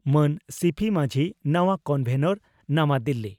ᱢᱟᱱ ᱥᱤᱹᱯᱤᱹ ᱢᱟᱹᱡᱷᱤ ᱱᱟᱣᱟ ᱠᱚᱱᱵᱷᱮᱱᱚᱨ ᱱᱟᱣᱟ ᱫᱤᱞᱤ